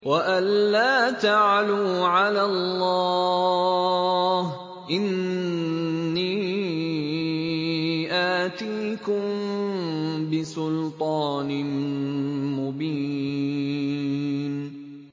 وَأَن لَّا تَعْلُوا عَلَى اللَّهِ ۖ إِنِّي آتِيكُم بِسُلْطَانٍ مُّبِينٍ